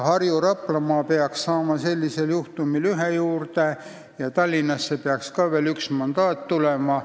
Harju- ja Raplamaa peaks saama sellisel juhul ühe mandaadi juurde ja Tallinnasse peaks ka veel üks mandaat tulema.